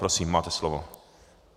Prosím, máte slovo.